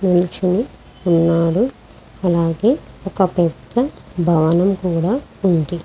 నించొని ఉన్నాడు. అలాగే ఒక పెద్ద భవనం కూడా ఉంది.